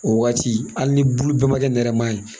O waati hali ni bulu bɛɛ ma kɛ nɛrɛma ye